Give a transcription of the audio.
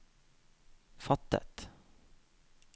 fattet